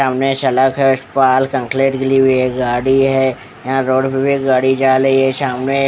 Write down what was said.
सामने सलाख के उस पार कनकलेट गीली हुई है गाड़ी है यहाँ रोड़ में भी गाड़ी जा रही है सामने --